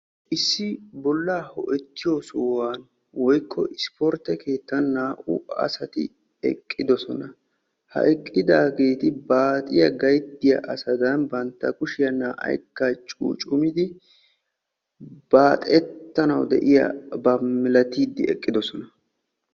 Issi bollaa ho'ettiyo sohuwan woykko isportte keettan naa''u asati eqqidosona. Ha eqqidaageeti baaxiya gayttiya asadan bantta kushiya naa''aykka cuucummidi baaxettana de'iyaba malatiiddi eqqidosona.